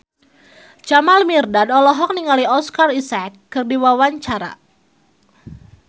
Jamal Mirdad olohok ningali Oscar Isaac keur diwawancara